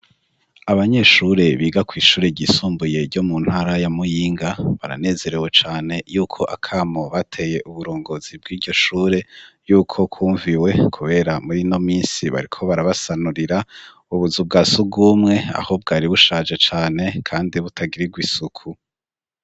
Abanyeshure biga ku ishureryisumbuye ryo mu ntara ya Muyinga baranezerewe cane y'uko akamo bateye uburongozi bw'ijyo shure y'uko kumviwe kubera muri no misi bariko barabasanurira ubuzu bwa sugumwe ahubw ari bushaje cane kandi butagiriru isuku.